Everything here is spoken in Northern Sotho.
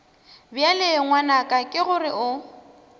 bjale ngwanaka ke gore o